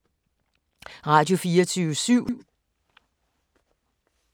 Radio24syv